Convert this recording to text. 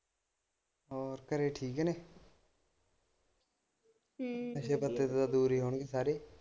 ਹੋਰ ਘਰੇ ਠੀਕ ਨੇ ਹਮ ਨਸ਼ੇ ਪੱਤੇ ਤੋਂ ਦੂਰ ਹੀ ਹੋਣੇ ਸਾਰੇ।